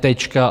Tečka.